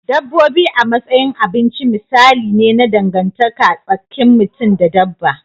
Dabbobi a matsayin abinci misali ne na dangantaka tsakin mutum da dabba.